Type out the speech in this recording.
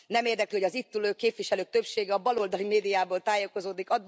Nem érdekli, hogy az itt ülő képviselők többsége a baloldali médiából tájékozódik.